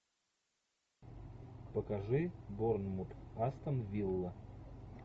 покажи борнмут астон вилла